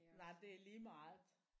Nej det er lige meget